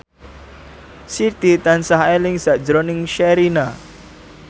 Siti tansah eling sakjroning Sherina